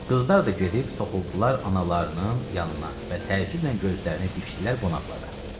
Qızlar da gedib soxuldular analarının yanına və təəccüblə gözlərini dikdilər qonaqlara.